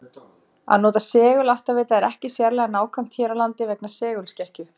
Að nota seguláttavita er ekki sérlega nákvæmt hér á landi vegna segulskekkju.